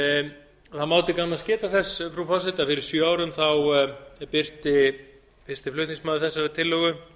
það má til gamans geta þess frú forseti að fyrir sjö árum birti fyrsti flutningsmaður þessarar tillögu